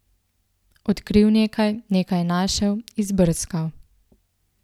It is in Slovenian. Odkril nekaj, nekaj našel, izbrskal.